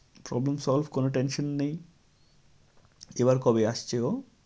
Problem solve কোনো tension নেই। এবার কবে আসছে ও?